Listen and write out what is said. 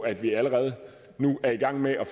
at vi allerede nu er i gang med at